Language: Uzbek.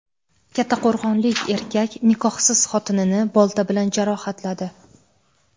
Kattaqo‘rg‘onlik erkak nikohsiz xotinini bolta bilan jarohatladi.